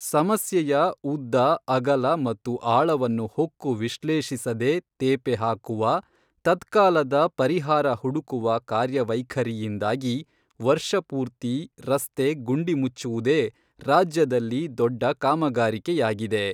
ಸಮಸ್ಯೆಯ ಉದ್ದ ಅಗಲ ಮತ್ತು ಆಳವನ್ನು ಹೊಕ್ಕು ವಿಶ್ಲೇಷಿಸದೆ ತೇಪೆ ಹಾಕುವ, ತತ್ಕಾಲದ ಪರಿಹಾರ ಹುಡುಕುವ ಕಾರ್ಯವೈಖರಿಯಿಂದಾಗಿ ವರ್ಷ ಪೂರ್ತಿ ರಸ್ತೆ ಗುಂಡಿ ಮುಚ್ಚುವುದೇ ರಾಜ್ಯದಲ್ಲಿ ದೊಡ್ಡ ಕಾಮಗಾರಿಕೆಯಾಗಿದೆ.